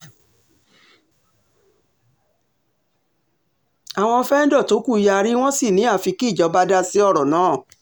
àwọn fẹ́ńdọ̀ tó kù yarí wọ́n sì ni àfi kí ìjọba dá sí ọ̀rọ̀ náà